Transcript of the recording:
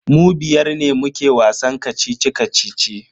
Mu biyar ne muke wasan kacici-kacici.